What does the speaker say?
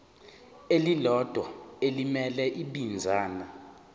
elilodwa elimele ibinzana